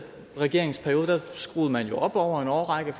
regering skruede man jo over en årrække